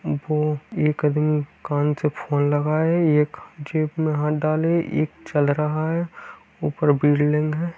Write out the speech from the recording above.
एक आदमी कान से फोन लगाए एक जेब में हाथ डाले एक चल रहा है ऊपर बिल्डिंग है।